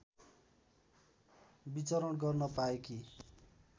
विचरण गर्न पाएकी